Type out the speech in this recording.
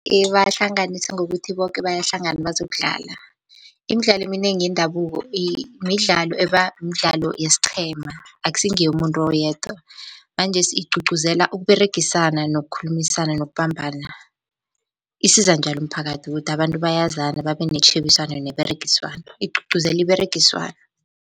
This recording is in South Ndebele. Ibahlanganisa ngokuthi boke bayahlangana bazokudlala. Imidlalo eminengi yendabuko midlalo ebamdlalo yesiqhema akusi ngeyomuntu oyedwa manjesi igcugcuzela ukUberegisana, nokukhulumisana, nokubambana. Isiza njalo umphakathi kuthi abantu bayazana babe netjhebiswano neberegiswano igcugcuzela iberegiswano.